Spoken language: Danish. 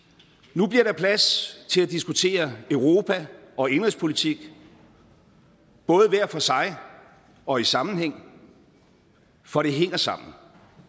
nu bliver der plads til at diskutere europa og indenrigspolitik både hver for sig og i sammenhæng for det hænger sammen